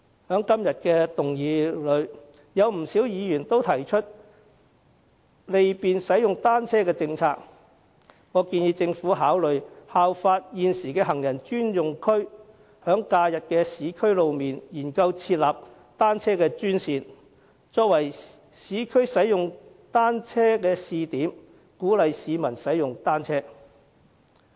在今天的議案辯論之中，不少議員均提出利便使用單車的政策，我建議政府考慮效法現時的行人專用區，在假日的市區路面，研究設立單車專線，作為市區使用單車的試點，鼓勵市民使用單車。